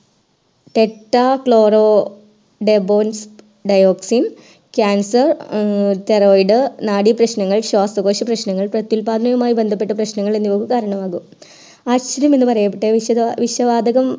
Tetrachloroethylene cancer thyroid നാഡി പ്രശ്ങ്ങൾ ശ്വാസകോശ പ്രശ്ങ്ങൾ പ്രതുല്പാദനമായി ബന്ധപ്പെട്ട പ്രശ്നങ്ങൾ എന്നിവ ഉദാഹരണമാണ് എന്ന് അറിയപ്പെട്ട വിഷവാതകം